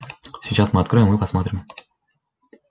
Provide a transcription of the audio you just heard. сейчас мы откроем и посмотрим